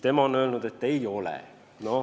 Tema on öelnud, et ei ole.